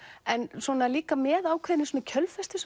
en svona líka með ákveðinni kjölfestu